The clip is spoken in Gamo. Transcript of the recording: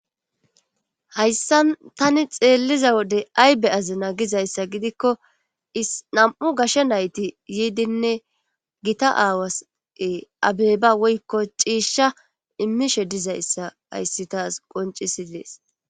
hayssan tani xeelliza wode aybe azina gizayssa gidikko is nam7u gasha nayti yiidinne gita aawase abeeba woykko ciishsha immishe dizayssa hayssi taas qoncisi dees